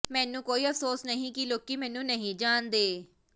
ਮੈਨੂੰ ਕੋਈ ਅਫਸੋਸ ਨਹੀਂ ਕਿ ਲੋਕੀ ਮੈਨੂੰ ਨਹੀਂ ਜਾਣਦੇ